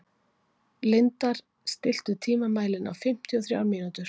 Lindar, stilltu tímamælinn á fimmtíu og þrjár mínútur.